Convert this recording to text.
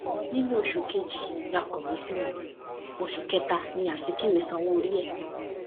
nínú oṣù kejì la kọwé sí wọn oṣù kẹta ní azikiwe sanwóorí ẹ